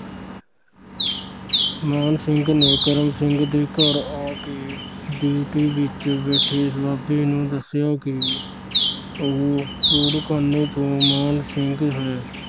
ਮਾਣ ਸਿੰਘ ਨੇ ਕਰਮ ਸਿੰਘ ਦੇ ਘਰ ਆ ਕੇ ਡਿਓਢੀ ਵਿਚ ਬੈਠੇ ਇਸ ਬਾਬੇ ਨੂੰ ਦੱਸਿਆ ਕਿ ਉਹ ਚੂੜਖਾਨੇ ਤੋਂ ਮਾਣ ਸਿੰਘ ਹੈ।